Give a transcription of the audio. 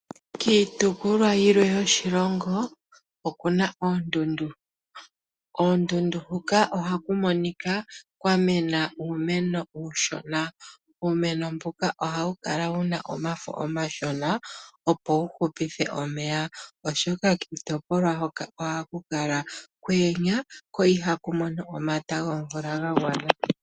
Kiitopolwa yilwe yoshilongo okuna oondundu. Koondundu huka ohaku monika kwa mena uumeno uushona, uumeno mbuka ohawu kala wuna omafo omashona, opo wu hupithe omeya, oshoka kiitopolwa hoka ohaku kala kwa yenya, ko ihaku mono omata gomvula ga gwana.